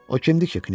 O kimdir ki?